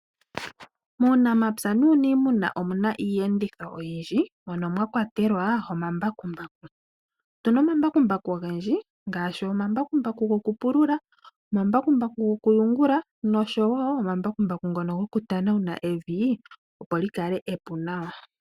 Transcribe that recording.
Muunamapya nuunimuna omuna iiyenditho oyindji mono mwa kwatelwa omambakumbaku. Otuna omambakumbaku ogendji ngaashi omambakumbaku goku pulula, omambakumbaku goku yungula oshowo omambakumbaku ngono goku tanawuna evi, opo lyi kale epu nawa.